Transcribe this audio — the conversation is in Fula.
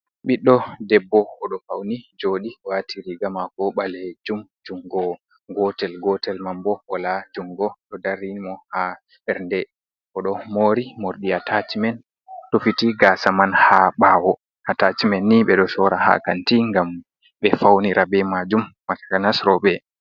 Ɓiɗɗo debbo, oɗo fauni jooɗi, waati riiga maako ɓalejum jungo gotel, gotel man bo wala jungo, ɗo darini mo haa ɓernde. Oɗo moori morɗi atachimen rufiti gaasa man ha ɓaawo. Atachimen ni, ɓe ɗo sora ha kanti ngam ɓe faunira be maajum, takanas rooɓe.